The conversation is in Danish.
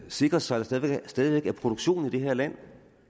sikre sig at der stadig væk er produktion i det her land